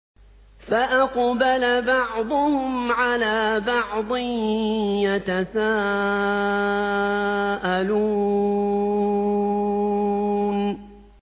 فَأَقْبَلَ بَعْضُهُمْ عَلَىٰ بَعْضٍ يَتَسَاءَلُونَ